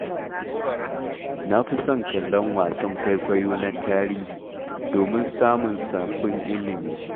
Na fi son kallon wasan kwaikwayo na tarihi, domin samun sabbin ilmi.